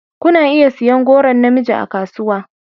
Kuna iya siyan goron na mijin a kasuwa.